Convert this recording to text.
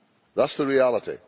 That is the reality.